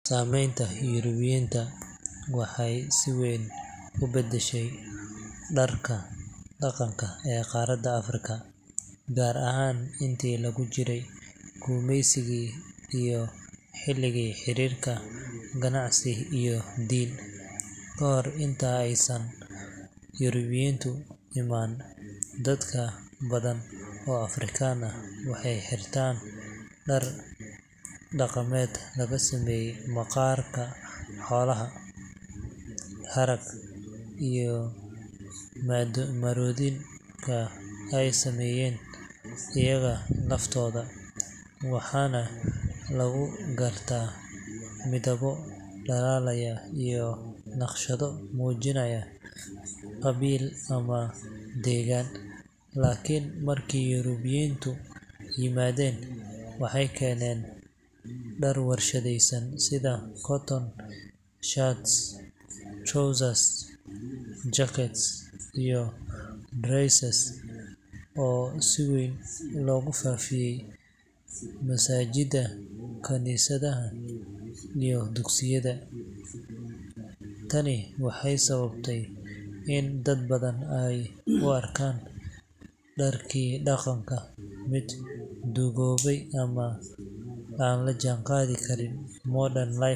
Saameynta Yurubiyiinta waxay si weyn u beddeshay dharka dhaqanka ee qaaradda Afrika, gaar ahaan intii lagu jiray gumaysigii iyo xilligii xiriirka ganacsi iyo diin. Kahor intii aysan Yurubiyiintu iman, dad badan oo Afrikaan ah waxay xirtaan dhar dhaqameed laga sameeyo maqaar xoolaad, harag, iyo marooyinka ay sameeyaan iyaga laftooda, waxaana lagu gartaa midabbo dhalaalaya iyo naqshado muujinaya qabiil ama deegaan. Laakiin markii Yurubiyiintu yimaadeen, waxay keeneen dhar warshadaysan sida cotton shirts, trousers, jackets iyo dresses oo si weyn loogu faafiyay masaajidda, kaniisadaha, iyo dugsiyada. Tani waxay sababtay in dad badan ay u arkaan dharkii dhaqanka mid duugoobay ama aan la jaanqaadi karin modern lifestyle.